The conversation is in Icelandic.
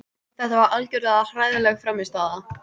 Þetta var algjörlega hræðileg frammistaða.